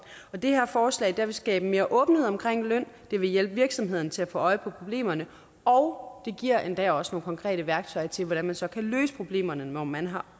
og det her forslag vil skabe mere åbenhed omkring løn det vil hjælpe virksomhederne til at få øje på problemerne og det giver endda også nogle konkrete værktøjer til hvordan man så kan løse problemerne når man har